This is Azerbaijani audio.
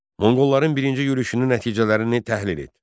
Monqolların birinci yürüşünün nəticələrini təhlil et.